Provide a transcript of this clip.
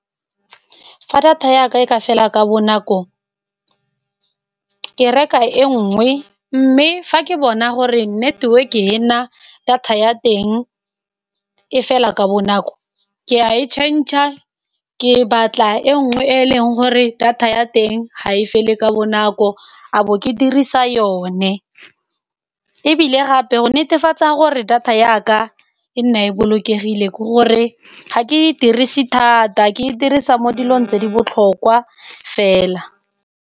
Fa data yaka e ka fela ka bonako, ke reka e nngwe mme fa ke bona gore network-e e na data ya teng e fela ka bonako ke ya e change-a, ke batla e nngwe e e leng gore data ya teng ga e fele ka bonako, a bo ke dirisa yone. Ebile gape go netefatsa gore data yaka e nne e bolokegile ke gore ga ke e dirise thata, ke e dirisa mo dilong tse di botlhokwa fela.